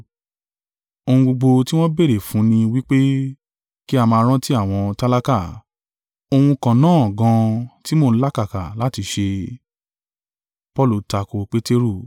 Ohun gbogbo tí wọ́n béèrè fún ni wí pé, kí a máa rántí àwọn tálákà, ohun kan náà gan an tí mo ń làkàkà láti ṣe.